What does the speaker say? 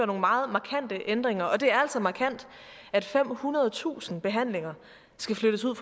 nogle meget markante ændringer det er altså markant at femhundredetusind behandlinger skal flyttes ud